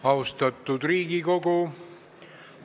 Austatud Riigikogu!